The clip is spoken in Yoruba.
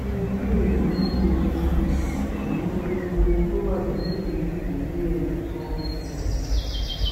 ohun tí èyí ní í ṣe um pẹlú gbogbo ohun tó wà nílẹ yìí kò yé ẹnì kan um